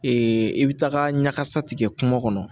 i bɛ taga ɲagasa tigɛ kungo kɔnɔ